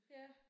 Ja